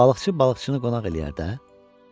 Balıqçı balıqçını qonaq eləyər də.